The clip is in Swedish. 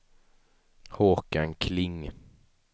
Håkan Kling